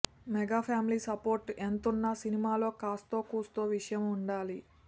mega family support ఎంతున్నా సినిమాలో కాస్తో కూస్తో విషయం ఉండాలి